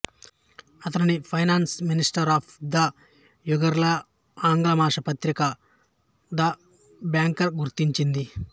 అతనిని finance minister of the యియర్గా ఆంగ్ల మాస పత్రిక ద బ్యాంకర్ గుర్తించింది